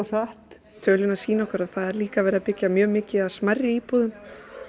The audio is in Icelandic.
hratt tölurnar sýna okkur að það er líka verið að byggja mjög mikið af smærri íbúðum